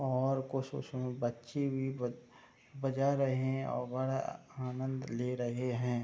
और खुश-खुश में बच्चे भी ब-बजा रहे है और बढ़ा आनंद ले रहे है।